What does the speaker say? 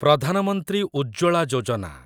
Pradhan Mantri Ujjwala Yojana